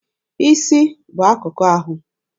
Isi bụ akụkụ ahụ.